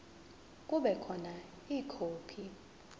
kube khona ikhophi